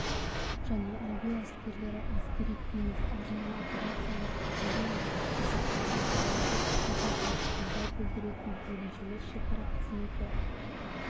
және әуе әскерлері әскери-теңіз арнайы операциялар күштері мен жасақтар материалдық-техникалық қолдау білдіретін бөлімшелер шекара қызметі